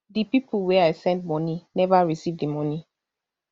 di pipo wey i send money neva receive di money